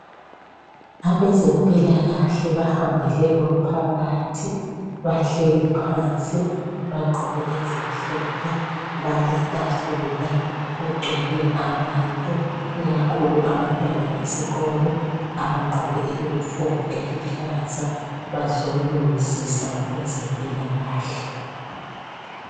Abezempilakahle bahambele umphakathi bahleli phansi bagqoke ezimhlophe, baletafula kugcwele abantu ikakhulu abantwana besikolo abagqoke eyunifomu eluhlaza bazolungisisa ngezempilakahle.